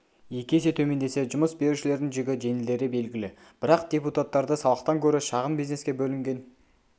екі есе төмендесе жұмыс берушілердің жүгі жеңілдері белгілі бірақ депутаттарды салықтан көрі шағын бизнеске бөлінген